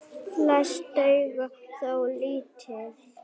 Flest duga þó lítið.